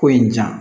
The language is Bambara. Ko in ja